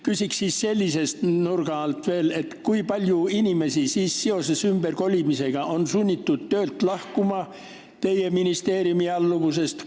Küsin veel sellise nurga alt: kui paljud inimesed on sunnitud ümberkolimise tõttu töölt, teie ministeeriumi alluvusest lahkuma?